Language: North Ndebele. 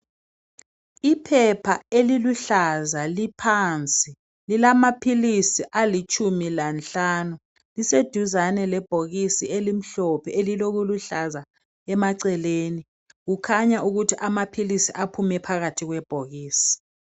Iphepha eluluhlaza liphansi ,lilamaphilisi alitshumi lanhlanu. Liseduzane lebhokisi elimhlophe, elilokuhlaza emaceleni. Kukhanya ukuthi amaphilisi aphume phakathi kwebhokisi.